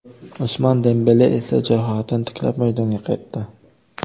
Usmon Dembele esa jarohatini tiklab, maydonga qaytdi.